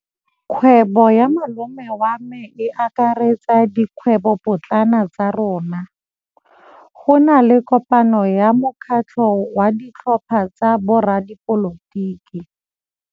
Kgwêbô ya malome wa me e akaretsa dikgwêbôpotlana tsa rona. Go na le kopanô ya mokgatlhô wa ditlhopha tsa boradipolotiki.